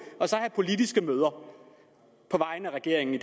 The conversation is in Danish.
have politiske møder på vegne af regeringen i